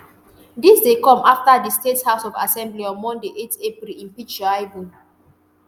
dis dey come afta di state house of assembly on monday eight april impeach shaibu